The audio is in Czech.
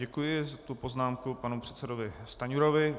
Děkuji za tuto poznámku panu předsedovi Stanjurovi.